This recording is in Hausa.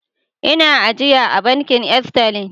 Ina ajiya a Bankin Sterlin.